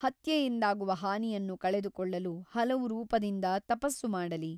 ಹತ್ಯೆಯಿಂದಾಗುವ ಹಾನಿಯನ್ನು ಕಳೆದುಕೊಳ್ಳಲು ಹಲವು ರೂಪದಿಂದ ತಪಸ್ಸು ಮಾಡಲಿ.